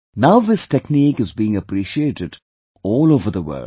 Now this technique is being appreciated all over the world